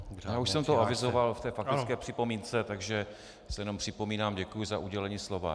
Já už jsem to avizoval v té faktické připomínce, takže se jenom připomínám, děkuji za udělení slova.